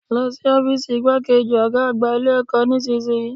Lọ sí ọ́fììsì igbákejì Ọ̀gá àgbà Ilé ẹ̀kọ́ nísìnyí